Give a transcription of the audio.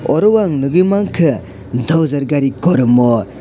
oro ang ni hoi mangka dojar gari kormo.